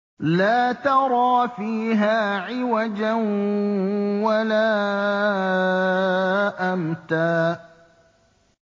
لَّا تَرَىٰ فِيهَا عِوَجًا وَلَا أَمْتًا